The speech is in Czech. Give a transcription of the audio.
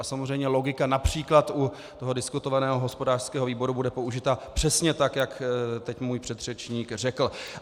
A samozřejmě logika například u toho diskutovaného hospodářského výboru bude použita přesně tak, jak teď můj předřečník řekl.